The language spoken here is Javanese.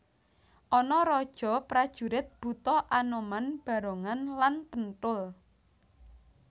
Ana raja prajurit buta anoman barongan lan penthul